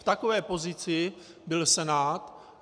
V takové pozici byl Senát.